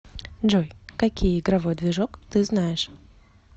джой какие игровой движок ты знаешь